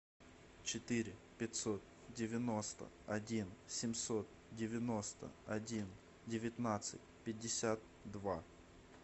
четыре пятьсот девяносто один семьсот девяносто один девятнадцать пятьдесят два